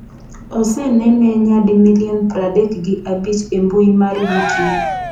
Osenene nyadi milion pradek gi abich e mbui mar Youtube.